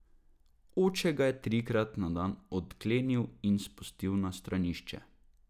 Oče ga je trikrat na dan odklenil in ga spustil na stranišče.